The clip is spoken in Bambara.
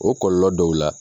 O kɔlɔlɔ dɔw la